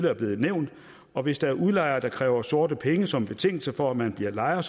er blevet nævnt og hvis der er udlejere der kræver sorte penge som betingelse for at man bliver lejer